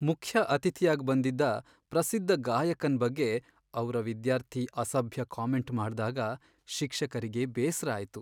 ಮುಖ್ಯ ಅತಿಥಿಯಾಗ್ ಬಂದಿದ್ದ ಪ್ರಸಿದ್ಧ ಗಾಯಕನ್ ಬಗ್ಗೆ ಅವ್ರ ವಿದ್ಯಾರ್ಥಿ ಅಸಭ್ಯ ಕಾಮೆಂಟ್ ಮಾಡ್ದಾಗ ಶಿಕ್ಷಕರಿಗೆ ಬೇಸ್ರ ಆಯ್ತು.